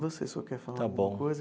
Você só quer falar alguma coisa?